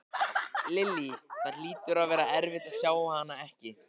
Lillý: Það hlýtur að vera erfitt að sjá hana ekki?